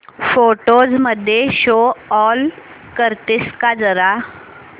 photos मध्ये show all करतेस का जरा